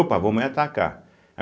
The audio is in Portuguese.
Opa, vou nem atacar.